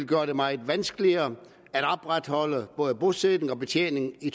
gjorde det meget vanskeligt at opretholde både bosætning og betjening i